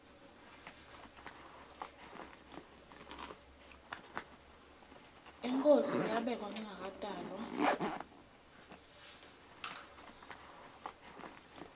inkhosi yabekwa ngingakatalwa